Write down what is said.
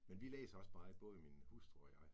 Men vi læser også meget, både min hustru og jeg